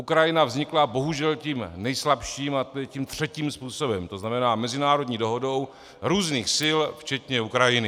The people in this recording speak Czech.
Ukrajina vznikla bohužel tím nejslabším, a to je tím třetím způsobem, to znamená mezinárodní dohodou různých sil včetně Ukrajiny.